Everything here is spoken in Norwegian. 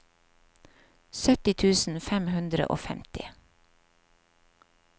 sytti tusen fem hundre og femti